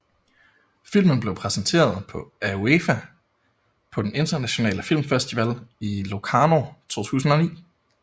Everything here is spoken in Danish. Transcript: Filmen blev præsenteret af UEFA på den Internationale Filmfestival i Locarno 2009